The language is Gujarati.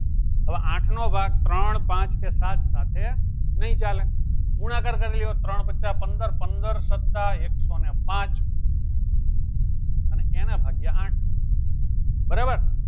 હવે આઠ નો ભાગ ત્રણ પાંચ કે સાત સાથે નહી ચાલે ગુનાકાર કરી લેવાના ત્રણ વત્તા પંદર પંદર વત્તા એક સૌ ને પાંચ અને એના ભાગ્યે આઠ બરાબર